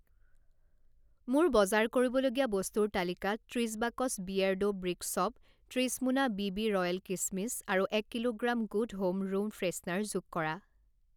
মোৰ বজাৰ কৰিবলগীয়া বস্তুৰ তালিকাত ত্ৰিশ বাকচ বিয়েৰ্ডো ব্ৰিক শ্ব'প, ত্ৰিশ মোনা বিবি ৰ'য়েল কিচমিচ আৰু এক kilogram good home room freshener যোগ কৰা।